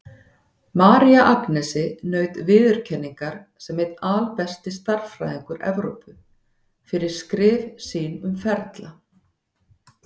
María Agnesi naut viðurkenningar sem einn albesti stærðfræðingur Evrópu, fyrir skrif sín um ferla.